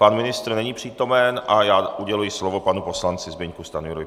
Pan ministr není přítomen a já uděluji slovo panu poslanci Zbyňku Stanjurovi.